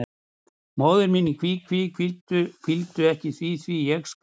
Móðir mín í kví, kví, kvíddu ekki því, því, ég skal.